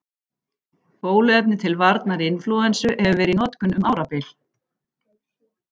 Bóluefni til varnar inflúensu hefur verið í notkun um árabil.